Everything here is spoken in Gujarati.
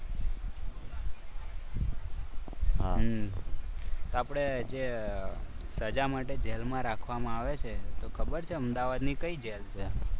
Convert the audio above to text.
હમ આપણે જે સજા માટે જેલમાં રાખવામાં આવે છે તો ખબર છે. અમદાવાદની કઈ જેલ છે?